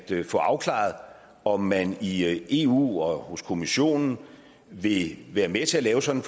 få afklaret om man i eu og hos kommissionen vil være med til at lave sådan